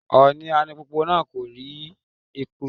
Òní alùpùpù náà kò rí epo.